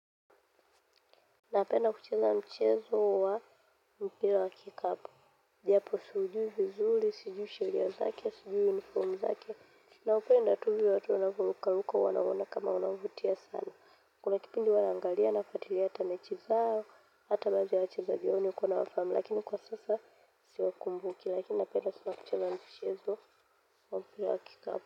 Napenda kucheza mchezo wa mpira wa kikapu. Japo siujui vizuri, sijui sheria zake, sijui uniform zake. Naupenda tu hivyo watu wanavyokaa huko huwa naona kama unavutia sana. Kuna kipindi huwa naangalia nafuatilia hata mechi zao, hata baadhi ya wachezaji wao nikona lakini kwa sasa siwakumbuki. Lakini napenda sana kucheza mchezo wa mpira wa kikapu.